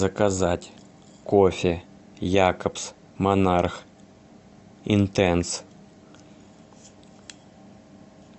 заказать кофе якобс монарх интенс